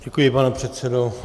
Děkuji, pane předsedo.